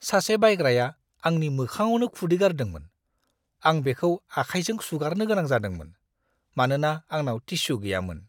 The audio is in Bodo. सासे बायग्राया आंनि मोखांआवनो खुदै गारदोंमोन। आं बेखौ आखाइजों सुगारनो गोनां जादोंमोन, मानोना आंनाव टिस्यु गैयामोन!